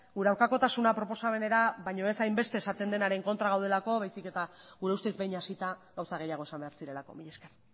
gure aurkakotasuna proposamenera baino ez hainbeste esaten denaren kontra gaudelako baizik eta gure ustez behin hasita gauza gehiago esan behar zirelako mila esker